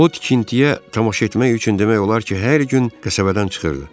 O tikintiyə tamaşa etmək üçün demək olar ki, hər gün qəsəbədən çıxırdı.